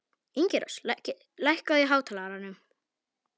Ingirós, lækkaðu í hátalaranum.